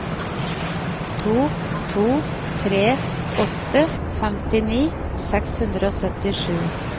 to to tre åtte femtini seks hundre og syttisju